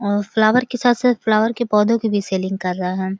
और फ्लावर के साथ-साथ फ्लावर के पौधों की भी सैलिंग कर रहा है।